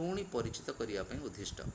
ପୁଣି ପରିଚିତ କରିବା ପାଇଁ ଉଦ୍ଦିଷ୍ଟ